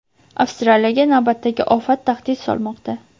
Avstraliyaga navbatdagi ofat tahdid solmoqda.